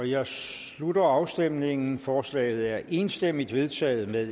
jeg slutter afstemningen forslaget er enstemmigt vedtaget med